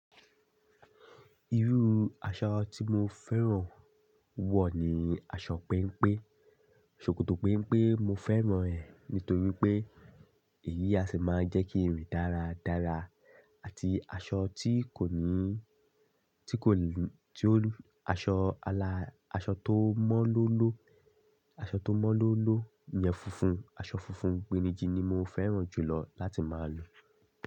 Irú aṣọ tí mo fẹ́ràn wọ̀ ní aṣọ péńpé. Ṣokoto péńpé mo fẹ́ràn ẹ̀ nítorí pé, èyí á ṣì máa ń jẹ́ kí n rìn dára dára àti aṣọ tí kò ní tí kò tí ó aṣọ al aṣọ tó mọ́lómọ́lọ́, aṣọ tó mọ́lómọ́lọ́ yẹn funfun, aṣọ funfun pẹ́nijí ni mo fẹ́ràn jùlọ láti máa lò.